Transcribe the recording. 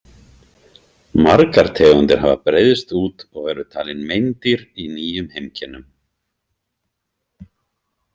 Margar tegundir hafa breiðst út og eru talin meindýr í nýjum heimkynnum.